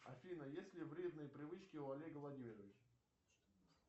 афина есть ли вредные привычки у олега владимировича